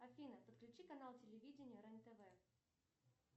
афина подключи канал телевидения рен тв